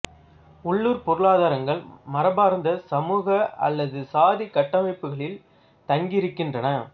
உள்ளுர் பொருளாதாரங்கள் மரபார்ந்த சமூக அல்லது சாதிக் கட்டமைப்புகளில் தங்கி இருக்கின்றன